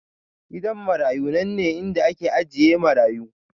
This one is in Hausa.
Gidan marayu nanne inda ake ajiye marayu